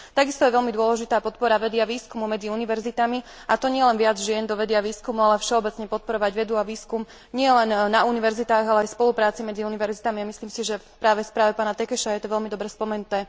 Takisto je veľmi dôležitá podpora vedy a výskumu medzi univerzitami, a to nielen viac žien do vedy a výskumu, ale všeobecne podporovať vedu a výskum nielen na univerzitách, ale aj v spolupráci medzi univerzitami, a myslím si, že práve v správe pána Tökésa je to veľmi dobre spomenuté.